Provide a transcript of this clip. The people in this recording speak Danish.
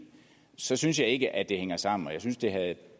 så synes jeg ikke at det hænger sammen og jeg synes det havde